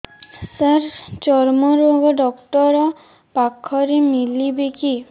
ସାର ଚର୍ମରୋଗ ଡକ୍ଟର ପାଖରେ ମିଳିବେ କି